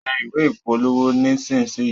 tẹ̀ ìwé ìpolówó nisisiyi.